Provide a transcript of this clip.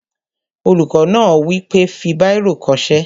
Olùkọ́ náà wí pé, "fi bírò kọ ṣé!"